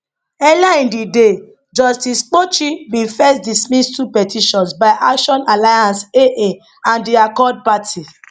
earlier in di day justice kpochi bin first dismiss two petitions by action alliance aa and di accord party